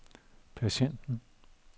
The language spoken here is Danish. patienten